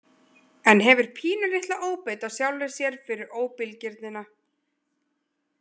En hefur pínulitla óbeit á sjálfri sér fyrir óbilgirnina.